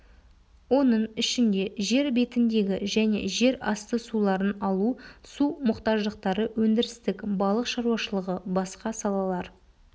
оның ішінде жер бетіндегі және жерасты суларын алу су мұқтаждықтары өндірістік балық шаруашылығы басқа салалар